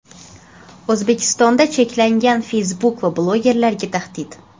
O‘zbekistonda cheklangan Facebook va blogerlarga tahdid.